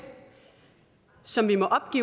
som vi må opgive